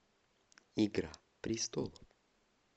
игра престолов